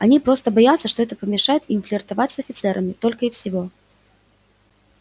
они просто боятся что это помешает им флиртовать с офицерами только и всего